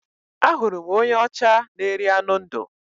Ahụrụ m onye ọcha na-eri anụ ndụ